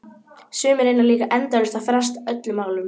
Sumir reyna líka endalaust að fresta öllum málum.